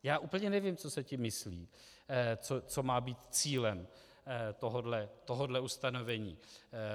Já úplně nevím, co se tím myslí, co má být cílem tohohle ustanovení.